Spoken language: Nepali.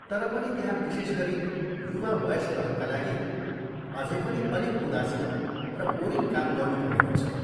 तर पनि, त्यहाँ विशेष गरी युवा वयस्कहरूका लागि अझै पनि अलिक उदासिलो र बोरिङ काम गर्नुपर्ने हुन्छ।